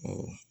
Awɔ